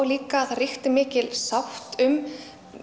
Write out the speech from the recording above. líka að það ríkti mikil sátt um